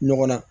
Ɲɔgɔn na